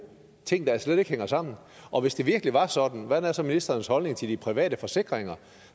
ting der slet ikke hænger sammen og hvis det virkelig var sådan hvordan er så ministerens holdning til de private forsikringer